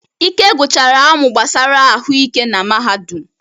Ike gụchara amụ gbasara ahụike na mahadum.